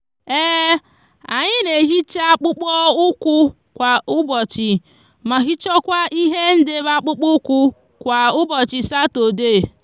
anyi n'ehicha akpukpo ukwu kwa ubochi ma hichakwa ihe ndebe akpukpo ukwu kwa ubochi satode